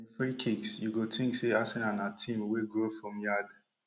and im free kicks you go tink say arsenal na team wey grow from yard